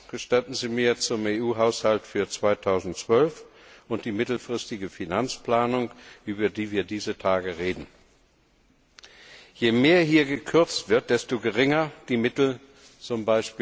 Gestatten Sie mir einen Satz zum EU Haushalt für 2012 und zur mittelfristigen Finanzplanung, über die wir dieser Tage reden Je mehr hier gekürzt wird, desto geringer die Mittel z.